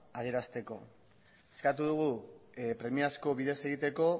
adierazteko eskatu dugu premiazko bidez egiteko